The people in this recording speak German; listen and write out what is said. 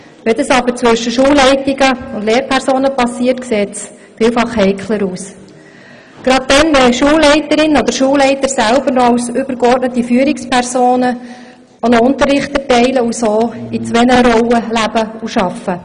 Wenn das aber zwischen Schulleitungen und Lehrpersonen passiert, sieht es vielfach heikler aus, gerade wenn Schulleiterinnen oder Schulleiter als übergeordnete Führungspersonen auch noch Unterricht erteilen und daher in zwei Rollen leben und arbeiten.